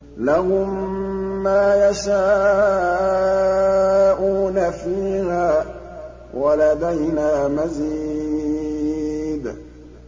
لَهُم مَّا يَشَاءُونَ فِيهَا وَلَدَيْنَا مَزِيدٌ